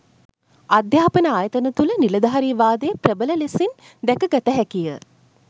අධ්‍යාපන ආයතන තුළ නිලධාරීවාදය ප්‍රබල ලෙසින් දැකගත හැකිය